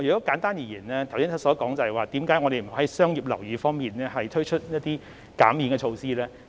簡單而言，我剛才所說的，便是為何我們不能在商業樓宇方面推出減免措施的原因。